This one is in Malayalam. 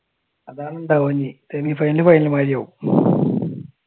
അതാണ് സെമിഫൈനൽ ഫൈനൽ മാതിരിയാവും.